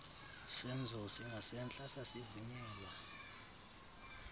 senzo singasentla sasivunyelwa